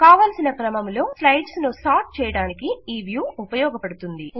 కావలసిన క్రమములో స్లైడ్స్ ను సార్ట్ చేయడానికి ఈ వ్యూ ఉపయోగపడుతుంది